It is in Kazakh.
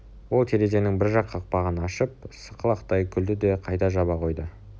ол терезенің бір жақ қақпағын ашып сықылықтай күлді де қайта жаба қойды